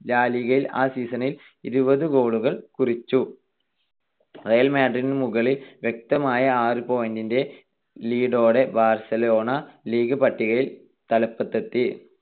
ലാ ലിഗയിൽ ആ season ൽ ഇരുപത് goal കൾ കുറിച്ചു. റിയൽ മാഡ്രിഡിനു മുകളിൽ വ്യക്തമായ ആറ് point ന്റെ lead ഓടെ ബാർസലോണ ലീഗ് പട്ടികയിൽ തലപ്പത്തെത്തി.